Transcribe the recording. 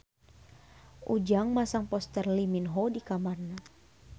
Ujang masang poster Lee Min Ho di kamarna